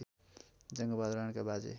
जङ्गबहादुर राणाका बाजे